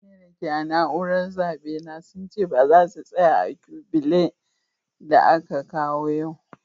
Mutane da ke a'naúrar zabe na sun ce baza su tsaya a'kubile da aka kawo yau.